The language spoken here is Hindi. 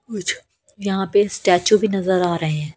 यहां पे स्टैचू भी नजर आ रहे हैं।